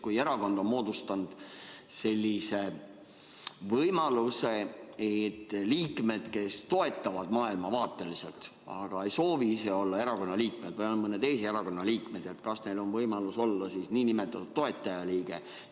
Kui erakond on moodustanud sellise võimaluse, et liikmed, kes toetavad maailmavaateliselt, aga ei soovi ise olla selle erakonna liikmed või on mõne teise erakonna liikmed, kas neil on võimalus olla nn toetajaliige?